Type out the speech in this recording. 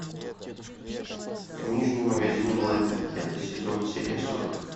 книжный магазин блэка пятый сезон серия сорок